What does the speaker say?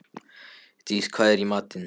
Dís, hvað er í matinn?